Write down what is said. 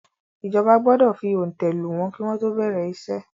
ìjọba gbọdọ fi òǹtẹ̀ lù wọ́n kí wọ́n tó bẹ̀rẹ̀ iṣẹ́.